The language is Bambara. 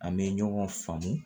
An bɛ ɲɔgɔn faamu